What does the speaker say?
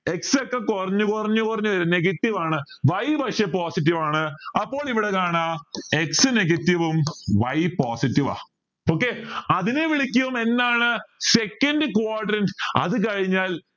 x ഒക്കെ കുറഞ്ഞ് കുറഞ്ഞ് കുറഞ്ഞ് വരും negative ആണ് y പക്ഷെ positive ആണ് അപ്പോൾ ഇവിടെ കാണാ x negative ഉം y positive ആ okay അതിനെ വിളിക്കും എന്താണ് second quadrant അത് കഴിഞ്ഞാൽ